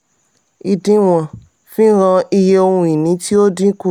"ìdínwón" fi hàn iye ohun ìní tí ó dínkù.